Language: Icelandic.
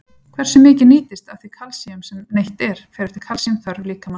Hversu mikið nýtist af því kalsíum sem neytt er, fer eftir kalsíumþörf líkamans.